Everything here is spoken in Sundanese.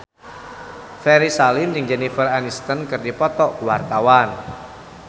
Ferry Salim jeung Jennifer Aniston keur dipoto ku wartawan